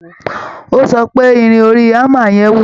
Ó sọ pé Irin orí hammer yẹn wúwo